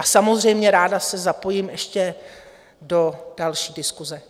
A samozřejmě ráda se zapojím ještě do další diskuse.